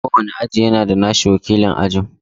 Kowane aji yana da nasa wakilin aji.